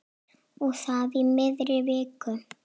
Og það í miðri viku.